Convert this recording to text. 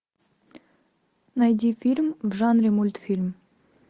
найди фильм в жанре мультфильм